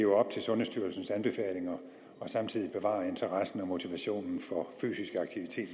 op til sundhedsstyrelsens anbefalinger og samtidig bevarer interessen og motivationen for fysisk aktivitet